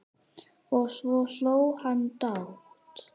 Og svo hló hann dátt.